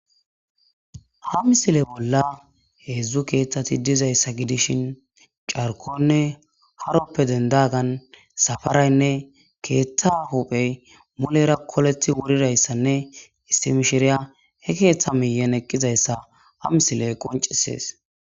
Ha missile bolla heedzdzu keeththati dizzayssa gidishin carkko'anne haruwappe denddagan safaraynne keeththa huuphphe mulera koleththi wuridayssanne issi mishshiriya he keeththa miyiyan eqqizayssa ha missile qonccisees.